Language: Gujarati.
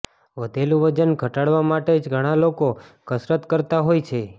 વધેલું વજન ઘટાડવા માટે જ ઘણા લોકો કસરત કરતા હોય છે